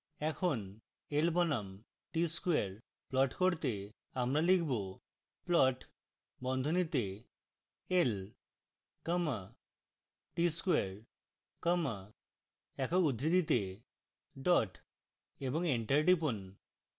এখন l বনাম t square plot করতে আমরা লিখব: